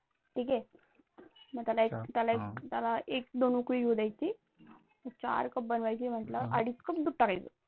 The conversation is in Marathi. ठीक हे? मग त्याला एक दोन उकळी येऊ द्यायची चार कप बनवायची म्हटल्यावर अडीच Cup दूध टाकायचं